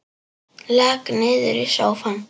Lak niður í sófann.